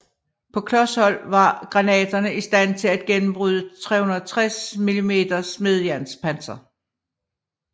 På klos hold var granaterne i stand til at gennembryde 360 mm smedejernspanser